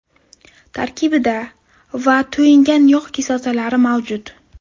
Tarkibida : va to‘yingan yog‘ kislotalari mavjud.